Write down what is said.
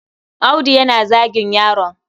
Audu yana zagin yaron.